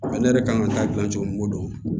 Ale yɛrɛ kan ka taa gilan cogo min ko don